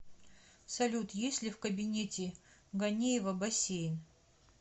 салют есть ли в кабинете ганеева бассейн